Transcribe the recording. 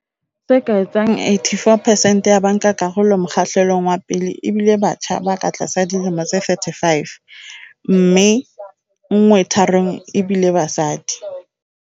Se ka etsang 84 percent ya bankakarolo mokgahlelong wa pele e bile batjha ba ka tlasa dilemo tse 35, mme nngwe tharong ebile basadi.